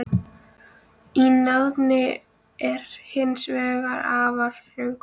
Í náðinni er hins vegar afar þröngur hópur.